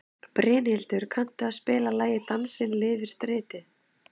Brynhildur, kanntu að spila lagið „Dansinn lifir stritið“?